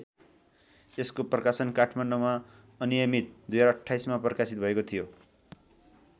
यसको प्रकाशन काठमाडौँमा अनियमित२०२८मा प्रकाशित भएको थियो।